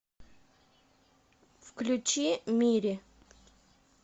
включи мири